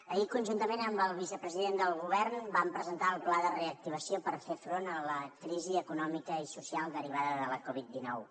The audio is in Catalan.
ahir conjuntament amb el vicepresident del govern vam presentar el pla de reactivació per fer front a la crisi econòmica i social derivada de la covid dinou